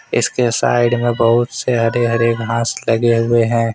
इसके साइड में बहुत से हरे- हरे घास लगे हुए हैं।